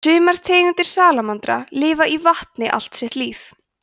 sumar tegundir salamandra lifa í vatni allt sitt líf